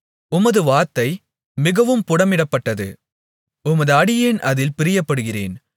உமது வார்த்தை மிகவும் புடமிடப்பட்டது உமது அடியேன் அதில் பிரியப்படுகிறேன்